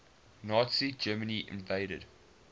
nazi germany invaded